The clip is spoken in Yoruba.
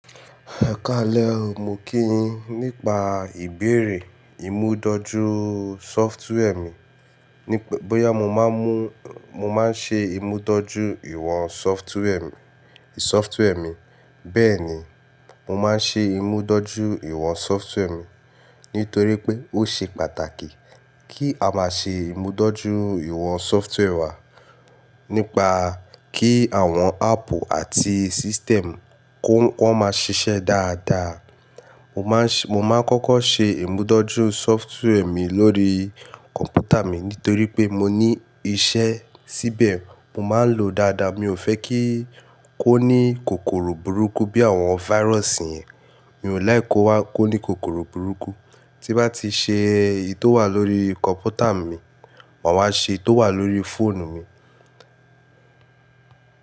Ẹ kálẹ̀ mo kí yin nipa ìbéèrè ìmúdojú sọftwarè mi. Bóyá mo máa ń ṣe ìmúdójúìwọ̀n sọftwarè mi. Bẹ́ẹ̀ni, mo máa ń ṣe ìmúdójúìwọ̀n sọftwarè mi. Nítorí pé ó ṣe pàtàkì kí a máa ṣe ìmúdójúìwọ̀n sọftwarè wa. Nípa kí àwọn áàpù àti system kó máa ṣiṣẹ́ dáadáa. Mo máa ń kọ́kọ́ ṣe ìmúdójú sọftwarè mi lórí kọ̀m̀pútà mi. Nítorí pé mo ní iṣẹ́ síbẹ̀. Mo máa ń lòó dáadáa. Mi ò fẹ́ kí ó ní kòkòrò burúkú bí àwọn fáírọ́sì yẹn. Mi ò láìki kó ní kòkòrò burúkú. Tí bá ti ṣe èyí tó wà lórí kọ̀m̀pútà mi, màá wá ṣe èyí tó wà lórí fóònù mi.